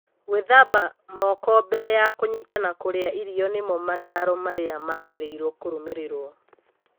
Gũĩthamba moko mbere ya kũnyita na kũrĩa irio nĩmo mataro marĩa magĩrĩirwo kũrũmĩrĩrwo.